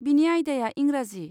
बिनि आयदाया इंराजि।